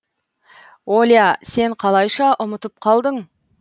оля сен қалайша ұмытып қалдың